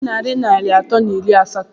Onye nwe narị naira anọ na iri asatọ a?